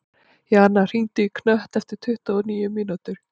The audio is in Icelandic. Jana, hringdu í Knött eftir tuttugu og níu mínútur.